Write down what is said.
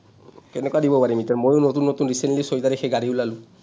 কেনেকুৱা দিব পাৰিম এতিয়া, মইও নতুন নতুন recently ছয় তাৰিখে গাড়ী ওলালো,